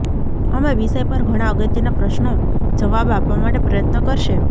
અમે વિષય પર ઘણા અગત્યના પ્રશ્નો જવાબ આપવા માટે પ્રયત્ન કરશે